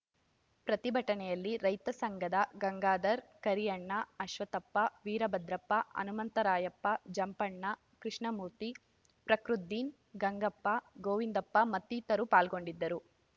ಪ್ರತಿಭಟನೆಯಲ್ಲಿ ರೈತ ಸಂಘಧ ಗಂಗಾಧರ್ ಕರಿಯಣ್ಣ ಅಶ್ವತ್ಥಪ್ಪ ವೀರಭದ್ರಪ್ಪ ಹನುಂತರಾಯಪ್ಪ ಜಂಪಣ್ಣ ಕೃಷ್ಣಮೂರ್ತಿ ಪಕೃದೀನ್ ಗಂಗಪ್ಪ ಗೊವಿಂದಪ್ಪ ಮತ್ತಿತರರು ಪಾಲ್ಗೊಂಡಿದ್ದರು